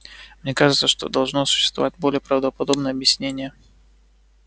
мне кажется что должно существовать более правдоподобное объяснение